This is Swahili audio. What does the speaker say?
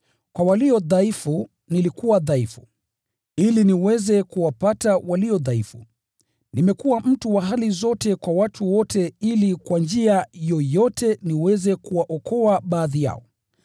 Kwa walio dhaifu nilikuwa dhaifu, ili niweze kuwapata walio dhaifu. Nimekuwa mtu wa hali zote kwa watu wote ili kwa njia yoyote niweze kuwaokoa baadhi yao.